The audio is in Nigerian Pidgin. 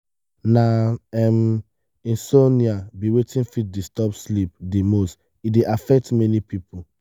na um insomnia be wetin fit disturb sleep di most e dey affect many people.